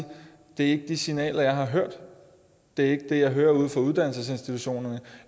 det ikke er de signaler jeg har hørt det er ikke det jeg hører ude fra uddannelsesinstitutionerne